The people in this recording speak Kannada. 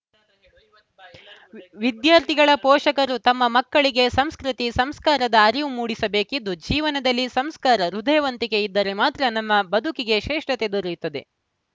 ವಿದ್ಯಾರ್ಥಿಗಳ ಪೋಷಕರು ತಮ್ಮ ಮಕ್ಕಳಿಗೆ ಸಂಸ್ಕೃತಿ ಸಂಸ್ಕಾರದ ಅರಿವು ಮೂಡಿಸಬೇಕಿದ್ದು ಜೀವನದಲ್ಲಿ ಸಂಸ್ಕಾರ ಹೃದಯವಂತಿಕೆ ಇದ್ದರೆ ಮಾತ್ರ ನಮ್ಮ ಬದುಕಿಗೆ ಶ್ರೇಷ್ಠತೆ ದೊರೆಯುತ್ತದೆ